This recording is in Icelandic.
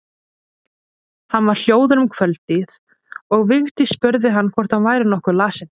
Hann var hljóður um kvöldið og Vigdís spurði hvort hann væri nokkuð lasinn.